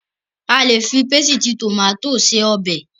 A lè fi pésìtì tòmátò se ọbẹ̀.